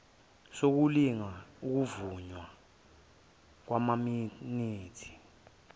sokulinga ukuvunywa kwamaminithi